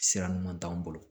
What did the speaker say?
Sira ɲuman t'anw bolo